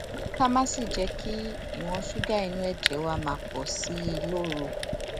ká má sì jé kí ìwòn ṣúgà inú èjè wa máa pò sí i lóru